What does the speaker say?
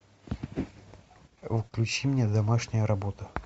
включи мне домашняя работа